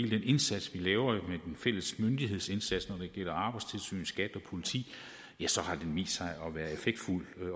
den indsats vi laver med fælles myndighedsindsats når det gælder arbejdstilsynet skat og politiet har vist sig at være effektfuld